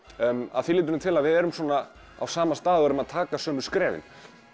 að því leytinu til að við erum á sama stað og erum að taka sömu skrefin